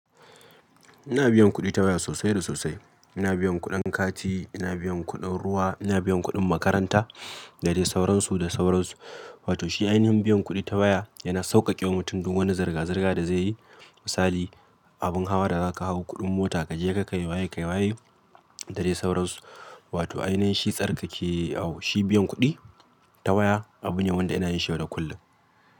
Ina biyan kuɗi ta waya sosai da sosai. Ina biyan kuɗin kati, ina biyan kuɗin ruwa, ina biyan kuɗin makaranta, da dai sauransu da sauransu. Wato shi ainihin biyan kuɗi ta waya yana sauƙaƙe wa mutum duk wani zirga-zirga da zai yi. Misali, abin hawa da za ka hau, kuɗin mota kaje ka kai waye kai waye dare sauransu. Wato ainihin shi tsarkake awu shi biyan kuɗi ta waya abu ne wanda yana yin shi yau da kullum.